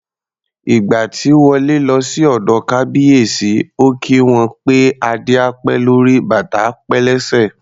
Ìgbà tí Wọlé lọ sí ọ̀dọ̀ Kábíyèsí, ó kí wọn pé "Adé á pẹ́ lórí, bàtà á pẹ́ lẹ́sẹ̀".